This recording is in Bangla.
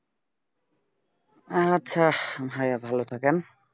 আচ্ছা ভাইয়া ভালো থাকেন